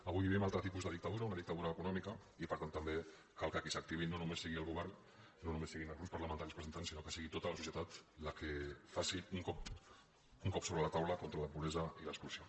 avui vivim un altre tipus de dictadura una dictadura econòmica i per tant també cal que qui s’activi no només sigui el govern no només siguin els grups parlamentaris presentants sinó que sigui tota la societat la que faci un cop sobre la taula contra la pobresa i l’exclusió